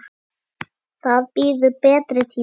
Það bíður betri tíma.